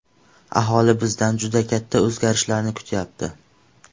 Aholi bizdan juda katta o‘zgarishlarni kutyapti.